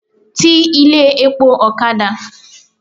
Ti ilé epo ọ̀kadà!